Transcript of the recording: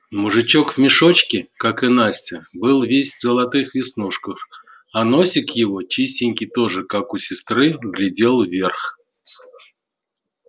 мужичок в мешочке как и настя был весь в золотых веснушках а носик его чистенький тоже как у сестры глядел вверх